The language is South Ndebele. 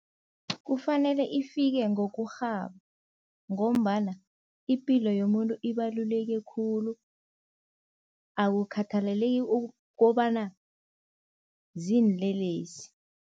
Kufanele ifike ngokurhaba ngombana ipilo yomuntu ibaluleke khulu, akukhathalaleki ukobana ziinlelesi.